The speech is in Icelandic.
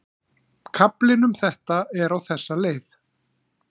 Kaflinn um þetta er á þessa leið